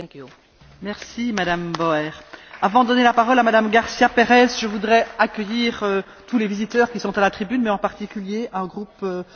Je voudrais accueillir tous les visiteurs qui sont à la tribune mais, en particulier un groupe de femmes qui travaillent dans le planning familial et sont certainement très concernées par notre débat.